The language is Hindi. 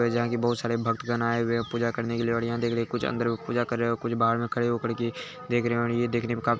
जो की यहां बहुत सारे भक्तगण आये हुए है पूजा करने के लिए जो की अंदर लोग पूजा कर रहे हैं। कुछ बाहर में खड़े होकर के देख रहे हैं और ये देखने में का --